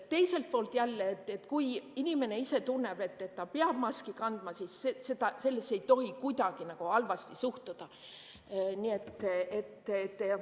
Teiselt poolt jälle, kui inimene ise tunneb, et ta peab maski kandma, siis sellesse ei tohi kuidagi halvasti suhtuda.